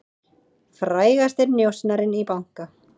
Frægasti njósnarinn í banka